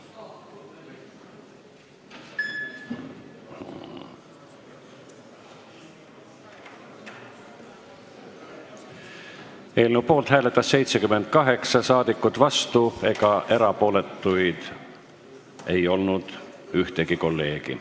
Hääletustulemused Eelnõu poolt hääletas 78 rahvasaadikut, vastu ega erapooletu ei olnud ükski kolleeg.